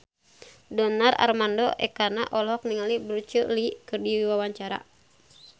Donar Armando Ekana olohok ningali Bruce Lee keur diwawancara